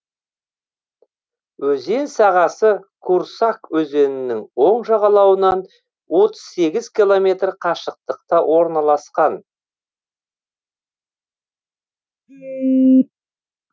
өзен сағасы курсак өзенінің оң жағалауынан отыз сегіз километр қашықтықта орналасқан